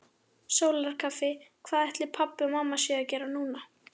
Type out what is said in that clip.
Sólarkaffi Hvað ætli pabbi og mamma séu að gera núna?